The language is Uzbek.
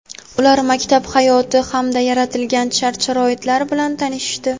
ular maktab hayoti hamda yaratilgan shart-sharoitlar bilan tanishishdi.